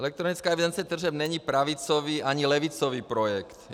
Elektronická evidence tržeb není pravicový ani levicový projekt.